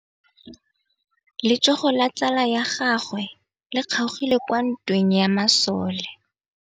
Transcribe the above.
Letsôgô la tsala ya gagwe le kgaogile kwa ntweng ya masole.